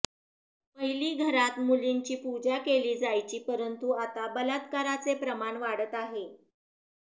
पहिली घरात मुलींची पूजा केली जायची परंतु आता बलात्काराचे प्रमाण वाढत आहे